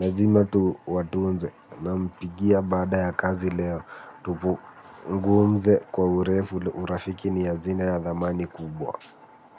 lazima tuwatunze nampigia baada ya kazi leo. Tupungumze kwa urefu urafiki ni ya azina ya thamani kubwa.